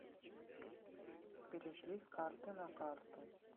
перешли с карты на карту